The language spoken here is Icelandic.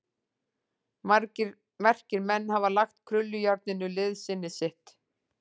Margir merkir menn hafa lagt krullujárninu liðsinni sitt.